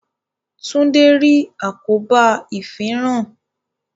Tunde rí àkóbá ifinran